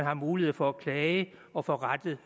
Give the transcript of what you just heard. har mulighed for at klage og få rettet